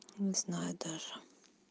не знаю даже